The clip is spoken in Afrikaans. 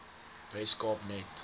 wes kaap net